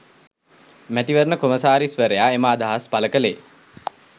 මැතිවරණ කොමසාරිස්වරයා එම අදහස් පළ කළේ